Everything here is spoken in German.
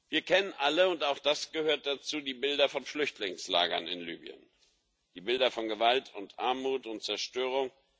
Wir kennen alle und auch das gehört dazu die Bilder von den Flüchtlingslagern in Libyen, die Bilder von Gewalt und Armut und Zerstörung.